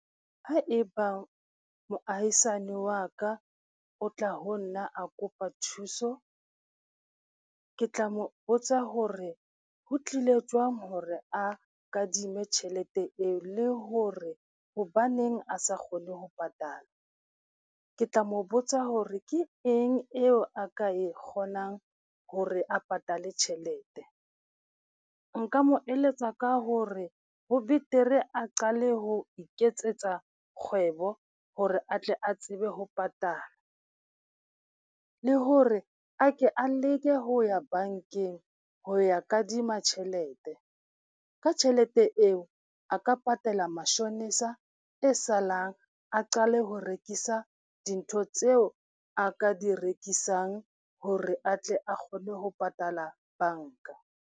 Ho ebang moahisane wa ka o tla ho nna a kopa thuso, ke tla mo botsa hore ho tlile jwang hore a kadime tjhelete eo le hore hobaneng a sa kgone ho patala. Ke tla mo botsa hore ke eng eo a ka e kgonang hore a patale tjhelete. Nka mo eletsa ka hore ho betere a qale ho iketsetsa kgwebo hore atle a tsebe ho patala, le hore a ke a leke ho ya bankeng ho ya kadima tjhelete. Ka tjhelete eo, a ka patala mashonisa e salang a qale ho rekisa dintho tseo a ka di rekisang hore atle a kgone ho patala banka.